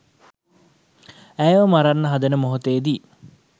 ඇයව මරන්න හදන මොහොතේදී